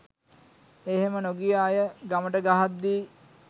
එහෙම නොගිය අය ගමට ගහද්දි